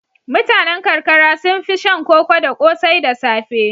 Mutanen karkara sun fi shan koko da ƙosai da safe.